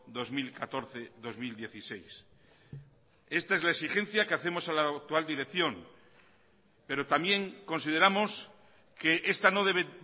dos mil catorce dos mil dieciséis esta es la exigencia que hacemos a la actual dirección pero también consideramos que esta no debe